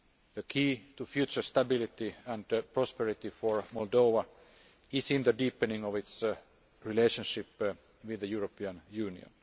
The key to future stability and prosperity for Moldova is in the deepening of its relationship with the European Union.